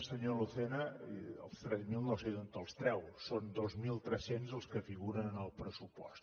senyor lucena els tres mil no sé d’on els treu són dos mil tres cents els que figuren en el pressupost